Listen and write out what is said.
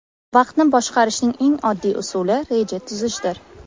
Vaqtni boshqarishning eng oddiy usuli reja tuzishdir.